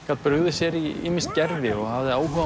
gat brugðið sér í ýmis gervi og hafði áhuga á